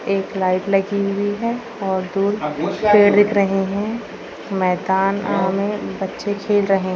एक लाइट लगी हुई है और दूर कुछ पेड़ दिख रहे हैं मैदान में बच्चे खेल रहे --